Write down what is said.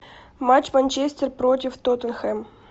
матч манчестер против тоттенхэм